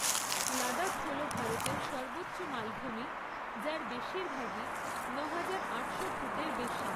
লাদাখ হল ভারতের সর্বোচ্চ মালভূমি, যার বেশিরভাগই নয় হাজার, আটশো ফুটের বেশি।